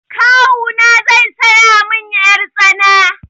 Kawuna zai saya min yar tsana.